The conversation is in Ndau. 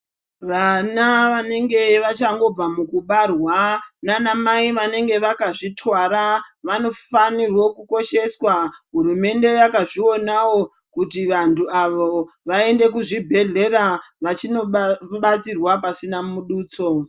Vana vanenge vachangobva mukubarwa nanamai vanenge vakazvitwara vanofanirwa kukosheswa, hurumende yakazvionawo kuti vantu avo vaende kuzvibhedhleya vachindobatsirwa pasina mudutso.